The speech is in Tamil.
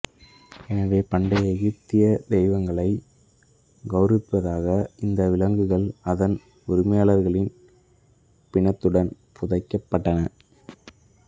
எனவே பண்டைய எகிப்திய தெய்வங்களை கௌரவிப்பதற்காக இந்த விலங்குகள் அதன் உரிமையாளரின் பிணத்துடன் புதைக்கப்பட்டன